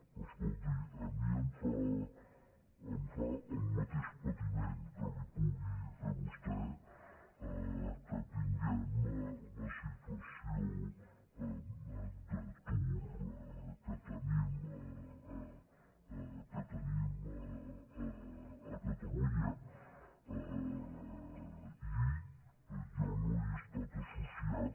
però escolti a mi em fa el mateix patiment que li pugui fer a vostè que tinguem la situació d’atur que tenim a catalunya i jo no he estat associat